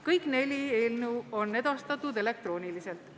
Kõik neli eelnõu on edastatud elektrooniliselt.